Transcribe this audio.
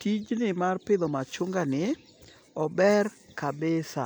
Tijni mar pidho machunga ni ober kabisa.